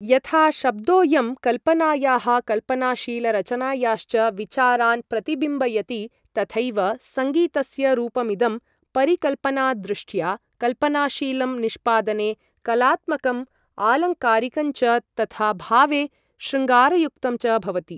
यथा शब्दोयं कल्पनायाः कल्पनाशीलरचनायाश्च विचारान् प्रतिबिम्बयति, तथैव सङ्गीतस्य रूपमिदं परिकल्पनादृष्ट्या कल्पनाशीलं, निष्पादने कलात्मकम् आलङ्कारिकञ्च, तथा भावे शृङ्गारयुक्तं च भवति।